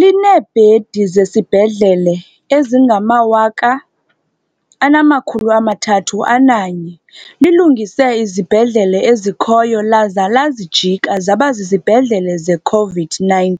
Lineebhedi zesibhedlele ezingama-8 301, lilungise izibhedlele ezikhoyo laza lazijika zaba zizibhedlele ze-COVID-19,